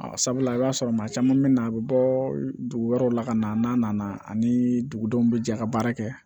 A sabula i b'a sɔrɔ maa caman bɛ na a bɛ bɔ dugu wɛrɛw la ka na n'a nana ani dugudenw bɛ jɛ ka baara kɛ